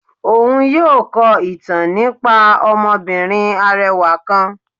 Òún yóò kọ ìtàn nípá ọmọbìnrín arẹwà kán.